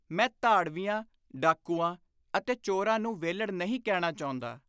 ਮੈਂ ਧਾੜਵੀਆਂ (ਡਾਕੂਆਂ) ਅਤੇ ਚੋਰਾਂ ਨੂੰ ਵਿਹਲੜ ਨਹੀਂ ਕਹਿਣਾ ਚਾਹੁੰਦਾ।